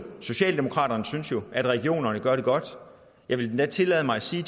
socialdemokratiet synes jo at regionerne gør det godt jeg vil endda tillade mig at sige